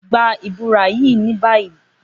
Gba bura ni bayi!